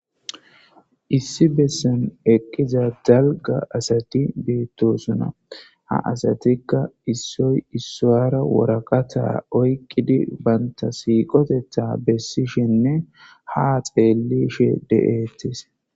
Issi bessan eqqiza dalgga asati beetosonna ha asatikka issoy issuwara waraqatta oyqidii bantta siiqoteththa bessishenne ha xellishe de'etes